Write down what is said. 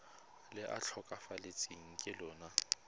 le a tlhokafetseng ka lona